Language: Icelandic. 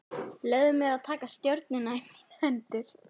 Leyfði mér að taka stjórnina í mínar hendur.